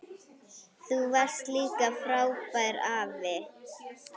Þú varst líka frábær afi.